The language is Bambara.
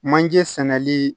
Manje sɛnɛli